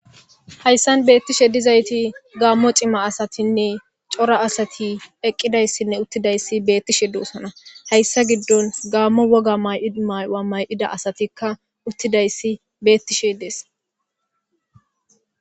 hayssan beettishe dizayti gaammo cima asatinne cora asati eqqidayssinne uttidayssi beettishe doosona hayssa giddon gaammo woga mymay7a may7ida asatikka uttidayssi beettishe dees